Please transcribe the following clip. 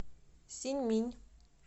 синьминь